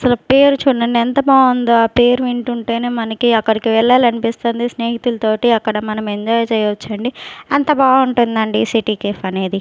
అసలు పేరు చూడండి ఎంత బాగుందో ఆ పేరు వింటుంటేనే మనకి అక్కడికి వెళ్ళాలీ అనిపిస్తుంది స్నేహితులతోటి అక్కడ మనం ఎంజాయ్ చేయొచ్చండి అంత బాగుంటుందండి సిటీ కేఫ్ అనేది.